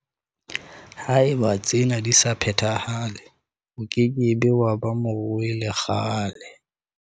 Ha eba tsena di sa phethahale, o ke ke wa ba morui le kgale.